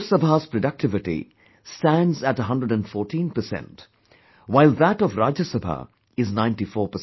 Lok sabha's productivity stands at 114%, while that of Rajya Sabha is 94%